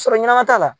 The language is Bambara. Sɔrɔ ɲɛnama t'a la